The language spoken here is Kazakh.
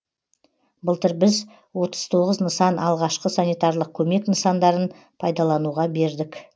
былтыр біз отыз тоғыз нысан алғашқы санитарлық көмек нысандарын пайдалануға бердік